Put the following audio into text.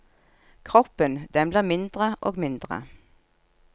Kroppen, den blir mindre og mindre.